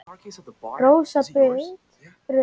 Rósa Rut.